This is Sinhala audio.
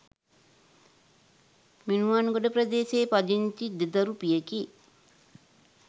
මිනුවන්ගොඩ ප්‍රදේශයේ පදිංචි දෙදරුපියෙකි.